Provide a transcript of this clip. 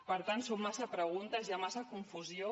per tant són massa preguntes hi ha massa confusió